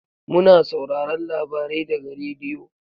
Mu na sauraron labarai daga radiyo.